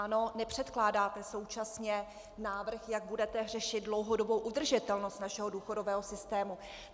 Ano, nepřekládáte současně návrh, jak budete řešit dlouhodobou udržitelnost našeho důchodového systému.